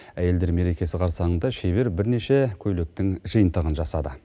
әйелдер мерекесі қарсаңында шебер бірнеше көйлектің жиынтығын жасады